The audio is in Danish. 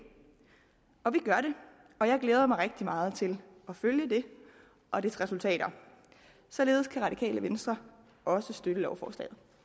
og vi gør det og jeg glæder mig rigtig meget til at følge det og dets resultater således kan radikale venstre også støtte lovforslaget